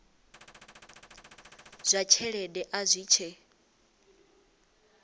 zwa tshelede a zwi tshe